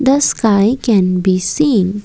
the sky can be seen.